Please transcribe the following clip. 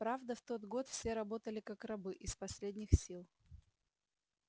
правда в тот год все работали как рабы из последних сил